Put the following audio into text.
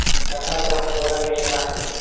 Yaqin atrofda odam yashamasdi.